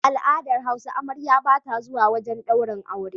A al'adar hausa amarya bata zuwa wajan daurin aure